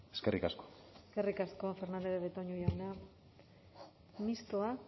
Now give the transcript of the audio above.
eskerrik asko eskerrik asko fernandez de betoño jauna mistoak